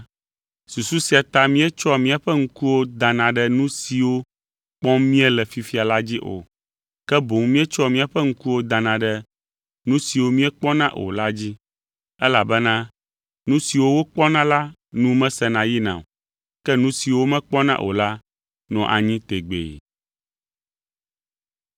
Susu sia ta míetsɔa míaƒe ŋkuwo dana ɖe nu siwo kpɔm míele fifia la dzi o, ke boŋ míetsɔa míaƒe ŋkuwo dana ɖe nu siwo míekpɔna o la dzi, elabena nu siwo wokpɔna la nu mesena yina o, ke nu siwo womekpɔna o la nɔa anyi tegbee.